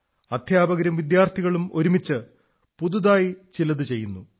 അധ്യാപകരും വിദ്യാർഥികളും ഒരുമിച്ച് പുതുതായി ചിലതു ചെയ്യുന്നു